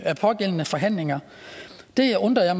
pågældende forhandlinger det undrede